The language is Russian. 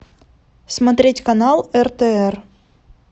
смотреть канал ртр